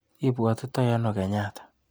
Ibwatitai ano Kenyatta?